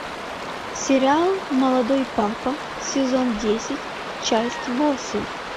сериал молодой папа сезон десять часть восемь